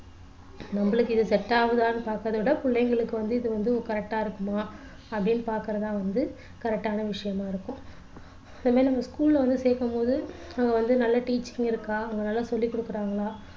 நம்மளுக்கு இது set ஆகுதான்னு பாக்குறத விட பிள்ளைங்களுக்கு வந்து இது வந்து correct டா இருக்குமா அப்படின்னு பார்க்கிறதான் வந்து correct டான விஷயமா இருக்கும் சில நேரம் நம்ம school ல வந்து சேர்க்கும்போது நம்ம வந்து நல்ல teaching இருக்கா அவங்க நல்லா சொல்லிக் கொடுக்கிறாங்களா